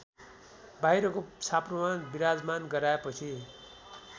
बाहिरको छाप्रोमा विराजमान गराएपछि